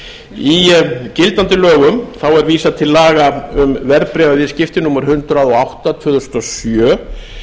verðbréfasjóðs í gildandi lögum er vísað til laga um verðbréfaviðskipti númer hundrað og átta tvö þúsund og sjö